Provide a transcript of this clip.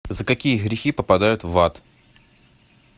за какие грехи попадают в ад